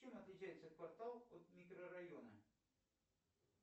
чем отличается квартал от микрорайона